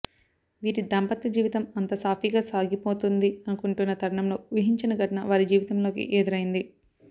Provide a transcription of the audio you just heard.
వీరి దాంపత్య జీవితం అంత సాఫీగా సాగిపోతుంది అనుకుంటున్న తరుణంలో ఊహించని ఘటన వారి జీవితంలోకి ఎదురైంది